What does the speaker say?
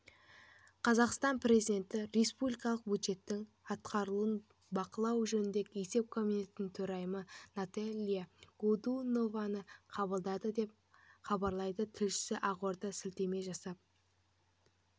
қазақстан президенті республикалық бюджеттің атқарылуын бақылау жөніндегі есеп комитетінің төрайымы наталья годунованы қабылдады деп хабарлайды тілшісі ақордаға сілтеме жасап